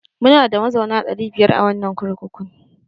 Munada mazauna ɗari biyar a wannan kurkukun.